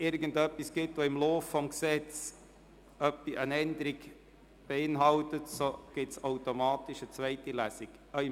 Wenn im Verlauf der Beratungen eine Änderung beschlossen wird, wird es automatisch eine zweite Lesung geben.